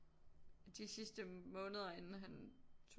De sidste måneder inden han tog